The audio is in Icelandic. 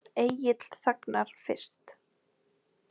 Egill þagnar fyrst.